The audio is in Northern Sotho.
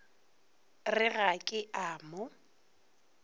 re ga ke a mo